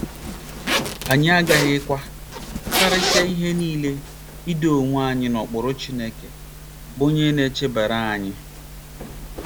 Anyị aghaghịkwa, karịsịa ihe nile, ' ido onwe anyị n'okpuru Chineke, ' bụ́ onye na-eche banyere anyị.